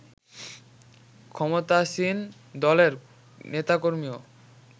ক্ষমতাসীন দলের নেতাকর্মীও